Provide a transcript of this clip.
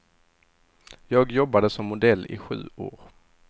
Jag jobbade som modell i sju år.